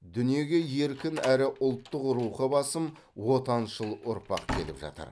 дүниеге еркін әрі ұлттық рухы басым отаншыл ұрпақ келіп жатыр